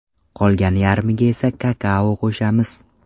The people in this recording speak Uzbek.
Qolgan yarmiga esa kakao qo‘shamiz.